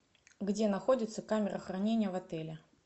где находится камера хранения в отеле